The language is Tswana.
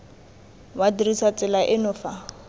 wa dirisa tsela eno fa